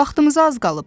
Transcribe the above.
Vaxtımıza az qalıb.